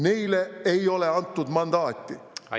Neile ei ole antud mandaati.